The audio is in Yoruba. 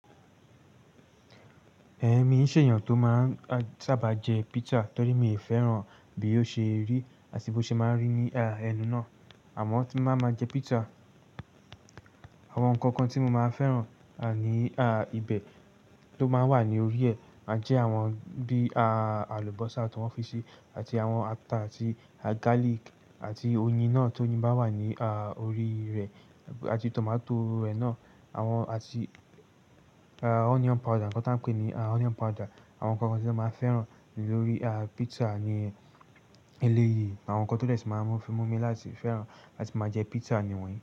Ẹ̀mi ń ṣe èèyàn tó máa sáàbà jẹ pizza torí mi ò fẹ́ràn bí ó ṣe rí àti bó ṣe máa ń rí ní ẹnu náà. Àmọ́ tí n bá máa jẹ pizza, àwọn ǹkan kan tí mo máa fẹ́ràn ní ibẹ̀ tó máa ń wà ní orí ẹ̀ máa jẹ́ àwọn bí àlùbọ́sà ti wọ́n fi sí, àti àwọn ata àti garlic àti oyin náà tó oyín bá wà ní orí rẹ̀ àti tomato rẹ̀ náà awon àti onion powder, ǹkan tí an pè ní onion powder. Àwọn nkan kan tí emi máa ń fẹ́ràn lórí pizza ni eléyìí. Àwọn ǹkan tó dè ṣi máa ń mu fi mú mi láti fẹ́ràn àti máa jẹ pizza ni wọ́nyìí.